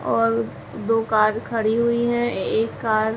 और दो कार खड़ी हुई हैं। एक कार --